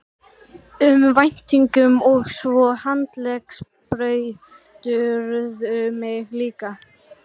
um væntingum og svo handleggsbrýturðu mig líka.